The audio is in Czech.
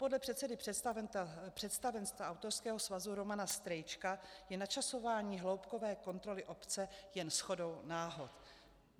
Podle předsedy představenstva autorského svazu Romana Strejčka je načasování hloubkové kontroly obce jen shodou náhod."